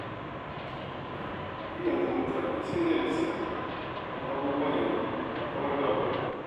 Ai yanzu mutane sai da lisaffi don abubuwa yanzu ba kamar da ba ne.